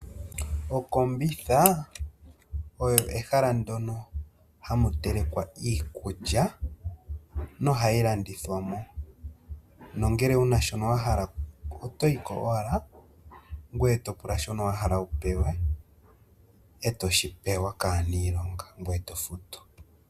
Okombitha olyo ehala ndyoka hamu telekwa iikulya no hayi landithwamo nangele wuna shoka wahala otoyi ko owala gweye topula shoka wahala wupewe noho shi pewa kaanilonga, etofutu.